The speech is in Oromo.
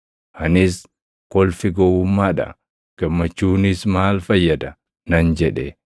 Anis, “Kolfi gowwummaa dha; gammachuunis maal fayyada?” nan jedhe.